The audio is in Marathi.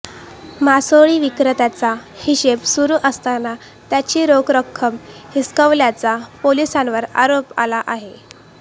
मासोळी विक्रेत्यांचा हिशेब सुरु असताना त्यांची रोख रक्कम हिसकावल्याचा पोलिसांवर आरोप आला आहे